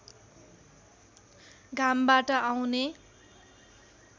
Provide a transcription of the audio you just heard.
घामबाट आउने